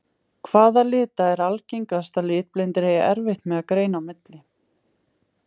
Hvaða lita er algengast að litblindir eigi erfitt með að greina á milli?